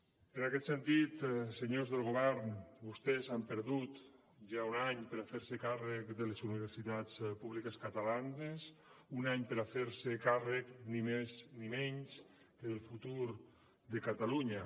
en aquest sentit senyors del govern vostès han perdut ja un any per fer se càrrec de les universitats públiques catalanes un any per fer se càrrec ni més ni menys que del futur de catalunya